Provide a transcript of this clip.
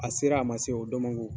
A sera, a ma se, o dɔn man go.